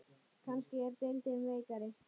Kannski er deildin veikari?